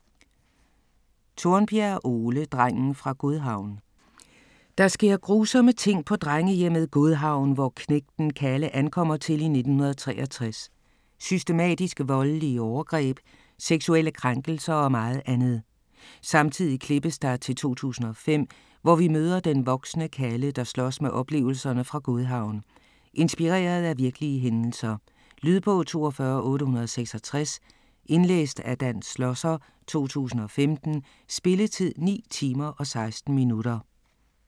Tornbjerg, Ole: Drengen fra Godhavn Der sker grusomme ting på drengehjemmet Godhavn, hvor knægten Kalle ankommer til i 1963. Systematiske voldelige overgreb, seksuelle krænkelser og meget andet. Samtidig klippes der til 2005, hvor vi møder den voksne Kalle, der slås med oplevelserne fra Godhavn. Inspireret af virkelige hændelser. Lydbog 42866 Indlæst af Dan Schlosser, 2015. Spilletid: 9 timer, 16 minutter.